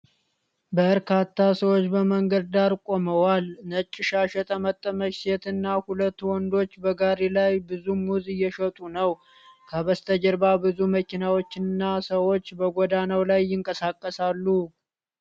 በርካታ ሰዎች በመንገድ ዳር ቆመዋል። ነጭ ሻሽ የጠመጠመች ሴት እና ሁለት ወንዶች በጋሪ ላይ ብዙ ሙዝ እየሸጡ ነው። ከበስተጀርባ ብዙ መኪናዎችና ሰዎች በጎዳናው ላይ ይንቀሳቀሳሉ።